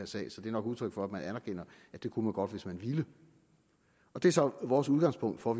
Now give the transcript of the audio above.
sag så det er nok udtryk for at man anerkender at det kunne man godt hvis man ville det er så vores udgangspunkt for